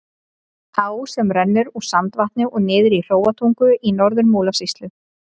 Á sem rennur úr Sandvatni og niður í Hróarstungu í Norður-Múlasýslu.